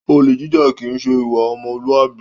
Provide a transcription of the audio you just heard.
Olè jíjà kìí ṣe ìwà ọmọlúàbí